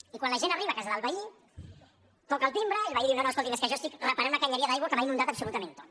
i quan la gent arriba a casa del veí toca el timbre i el veí diu no no escolti’m és que jo estic reparant una canonada d’aigua que m’ho ha inundat absolutament tot